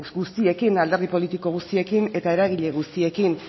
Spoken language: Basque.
guztiekin alderdi politiko guztiekin eta eragile guztiekin